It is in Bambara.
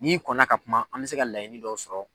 N'i kɔnna ka kuma an bɛ se ka laɲini dɔw sɔrɔ.